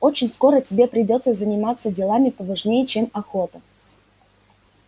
очень скоро тебе придётся заниматься делами поважнее чем охота